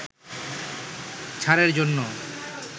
ছাড়ের জন্য